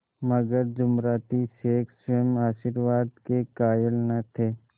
मगर जुमराती शेख स्वयं आशीर्वाद के कायल न थे